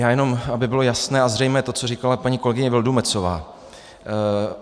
Já jenom aby bylo jasné a zřejmé to, co říkala paní kolegyně Vildumetzová.